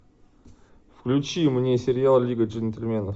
включи мне сериал лига джентльменов